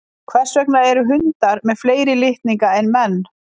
hvers vegna eru hundar með fleiri litninga en menn